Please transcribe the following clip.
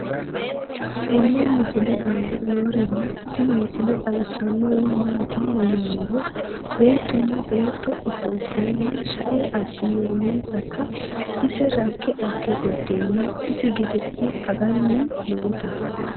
tenne misile aana noorina tini misile xawissannori maati yinummoro beettunna beetto offolittenna shae abinooninsatta ise rakke age gudeenna isi gede'ne anganni nootta